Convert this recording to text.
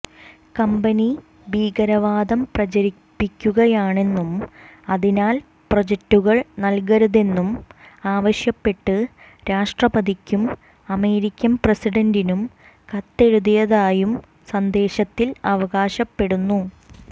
company ഭീകരവാദം പ്രചരിപ്പിക്കുകയാണെന്നും അതിനാൽ പ്രോജക്ടുകൾ നൽകരുതെന്നും ആവശ്യപ്പെട്ട് രാഷ്ട്രപതിക്കും അമേരിക്കൻ പ്രസിഡന്റിനും കത്തെഴുതിയതായും സന്ദേശത്തിൽ അവകാശപ്പെടുന്നു